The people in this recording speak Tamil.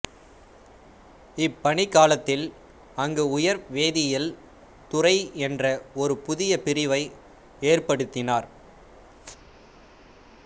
இப்பணிக்காலத்தில் அங்கு உயிர்வேதியியல் துறை என்ற ஒரு புதிய பிரிவை ஏற்படுத்தினார்